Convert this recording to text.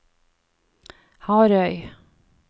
Harøy